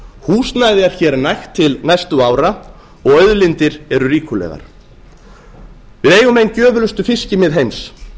húsnæði er hér nægt til næstu ára og auðlindir eru ríkulegar við eigum ein gjöfulustu fiskimið heims